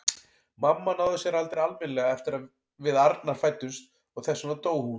Mamma náði sér aldrei almennilega eftir að við Arnar fæddumst og þess vegna dó hún.